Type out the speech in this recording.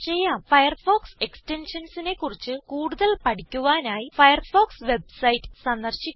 Firefox Extensionsനെ കുറിച്ച് കൂടുതൽ പഠിക്കുവാനായി ഫയർഫോക്സ് വെബ്സൈറ്റ് സന്ദർശിക്കുക